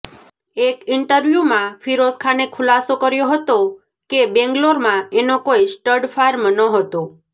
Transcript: એક ઈન્ટવ્યૂમાં ફિરોઝખાને ખુલાસો કર્યો હતો કે બેગલોરમાં એનો કોઈ સ્ટડ ફાર્મ નહોતો